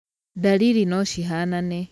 Ndariri no cihanane.